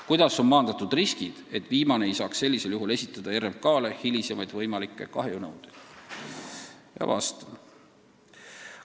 Kuidas on maandatud riskid, et viimane ei saaks sellisel juhul esitada RMK-le hilisemaid võimalikke kahjunõudeid?